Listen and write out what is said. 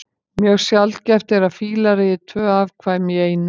Mjög sjaldgæft er að fílar eigi tvö afkvæmi í einu.